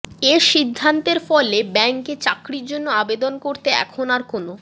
এ সিদ্ধান্তের ফলে ব্যাংকে চাকরির জন্য আবেদন করতে এখন আর কোনো